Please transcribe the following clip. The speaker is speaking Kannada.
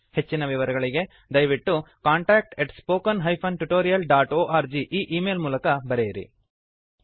ಹೆಚ್ಚಿನ ವಿವರಗಳಿಗೆ ದಯವಿಟ್ಟು contact at spoken hyphen tutorial dot org ಈ ಈ ಮೇಲ್ ಗೆ ಬರೆಯಿರಿ